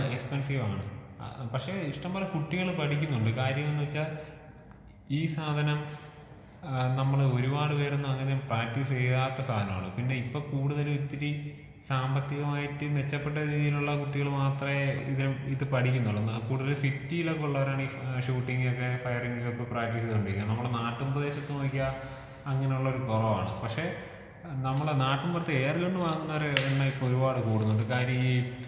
ആഹ് എക്സ്പെൻസീവാണ്. പക്ഷേ ഇഷ്ട്ടം പോലെ കുട്ടികള് പഠിക്കുന്നുണ്ട്. കാര്യമെന്താ വെച്ചാ ഈ സാധനം ഏഹ് നമ്മള് ഒരുപാട് പേരൊന്നും അങ്ങനെ പ്രാക്ടീസ് ചെയ്യാത്ത സാധനമാണ്.പിന്നെ ഇപ്പൊ കൂടുതല് ഇത്തിരി സാമ്പത്തികമായിട്ട് മെച്ചപ്പെട്ട രീതിയിലുള്ള കുട്ടികൾ മാത്രേ ഇത് ഇത് പഠിക്കുന്നുള്ളു. കൂടുതല് സിറ്റിലൊക്കെയുള്ളവരാണ് ഈ ഷൂട്ടിങ്ങൊക്കെ ഫയറിങ് ഒക്കെ പ്രാക്ടീസ് ചെയ്തോണ്ടിരിക്കുന്നത്. നമ്മളെ നാട്ടിൻ പ്രദേശത്ത് നോക്കിയാൽ അങ്ങനെയുള്ളവര് കൊറവാണ്. പക്ഷേ നമ്മളെ നാട്ടിൻ പുറത്ത് എയർ ഗൺ വാങ്ങുന്നവരെ എണ്ണം ഇപ്പൊ ഒരുപാട് കൂടുന്നുണ്ട്. കാര്യം ഈ.